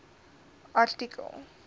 artikel